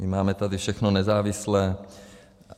My tady máme všechno nezávislé.